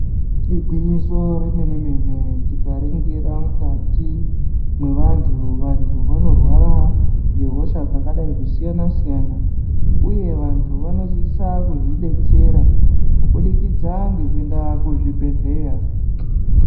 Igwinyiso remene mene tikaringira mukati mwevantu vantu vanorwara ngehosha dzakadayi kusiyana siyana uye vantu vanosisa kuzvidetsera kubudikidza ngekuenda kuzvibhedhleya.